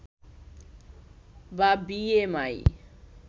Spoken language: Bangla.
বা বি এম আই